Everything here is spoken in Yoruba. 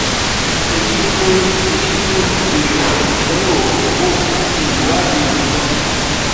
Èyí ni mo Èyí ni mo fi béèrè fún ìdánwò hormone àti ìwádìí míràn